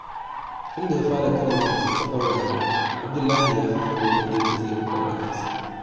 Tun da ya fara karanta littattafan rayuwa, Abdullahi ya fi fahimtar yadda zai kula da kansa.